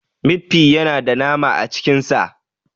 Mit fi yana da nama a cikin sa.